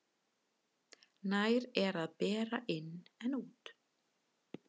Nær er að bera inn en út.